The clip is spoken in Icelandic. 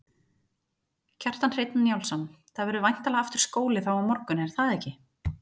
Kjartan Hreinn Njálsson: Það verður væntanlega aftur skóli þá á morgun er það ekki?